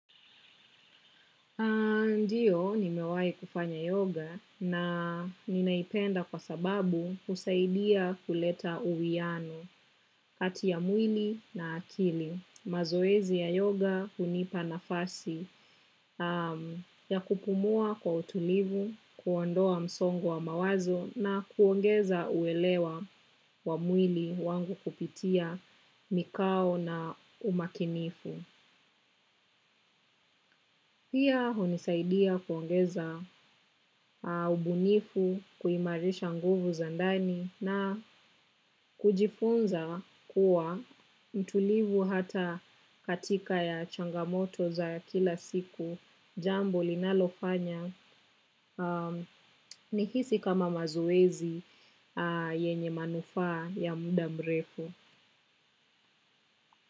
Ndiyo nimewai kufanya yoga na ninaipenda kwa sababu husaidia kuleta uwiano kati ya mwili na akili. Mazoezi ya yoga hunipa nafasi ya kupumua kwa utulivu, kuondoa msongo wa mawazo na kuongeza uelewa wa mwili wangu kupitia mikao na umakinifu. Pia hunisaidia kuongeza ubunifu kuimarisha nguvu za ndani na kujifunza kuwa mtulivu hata katika ya changamoto za kila siku jambo linalofanya nihisi kama mazoezi yenye manufaa ya mudamrefu.